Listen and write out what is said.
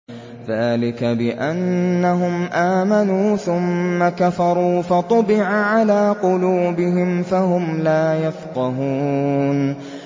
ذَٰلِكَ بِأَنَّهُمْ آمَنُوا ثُمَّ كَفَرُوا فَطُبِعَ عَلَىٰ قُلُوبِهِمْ فَهُمْ لَا يَفْقَهُونَ